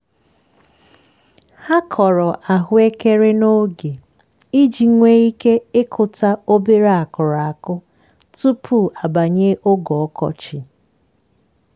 ha kọrọ ahụekeren'oge iji nwee ike ịkụta obere akụrụ akụ tupu abanye oge ọkọchị.